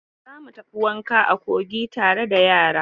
Za mu tafi wanka a kogi tare da yara.